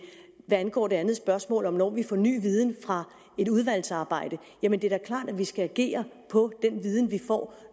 hvad angår det andet spørgsmål om når vi får ny viden fra et udvalgsarbejde jamen det er da klart at vi skal agere på den viden vi får